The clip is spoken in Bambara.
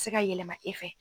se ka yɛlɛma e fɛ.